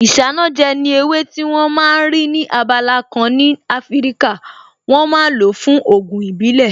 Isanaje ni ewé tí wón ma ń rí ní abala kan ní Afíríkà, wọ́n ma ń lo fún Ògùn ìbílẹ̀